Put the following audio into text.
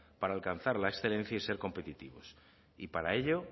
para alcanzar la excelencia y ser competitivos para ello